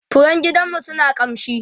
furen gidanmu suna kamshi